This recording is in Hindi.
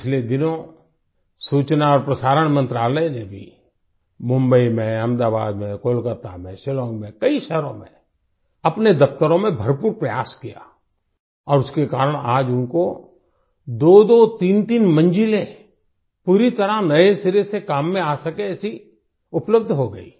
पिछले दिनों सूचना और प्रसारण मंत्रालय ने भी मुंबई में अहमदाबाद में कोलकता में शिलांग में कई शहरों में अपने दफ्तरों में भरपूर प्रयास किया और उसके कारण आज उनको दोदो तीनतीन मंजिलें पूरी तरह से नये सिरे से काम में आ सके ऐसी उपलब्ध हो गई